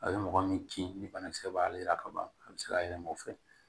A bɛ mɔgɔ min kin ni banakisɛ b'ale yira ka ban a bɛ se ka yɛlɛma o fɛ